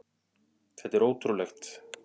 Þetta er ótrúlegt!